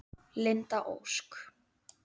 Linda Ósk.